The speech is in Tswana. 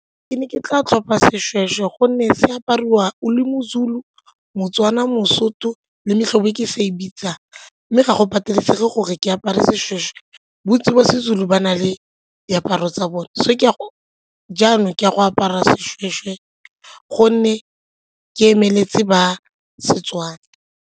Ke ne ke tla tlhopha seshweshwe gonne se apariwa o le mo-Zulu, mo-Tswana, mo-Sotho le metlhobo e ke sa e bitsang mme ga go patelesege gore ke apare seshweshwe. Bontsi jwa Sezulu ba na le diaparo tsa bone jaanong ke a go apara seshweshwe gonne ke emeletse ba Setswana.